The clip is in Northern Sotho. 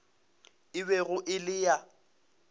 e bego e le ya